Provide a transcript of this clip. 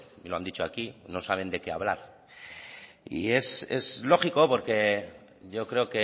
y lo han dicho aquí no saben de qué hablar y es lógico porque yo creo